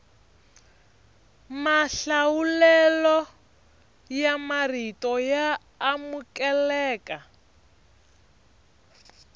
mahlawulelo ya marito ya amukeleka